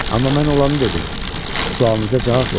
Amma mən olanı dedim, sualınıza cavab verdim.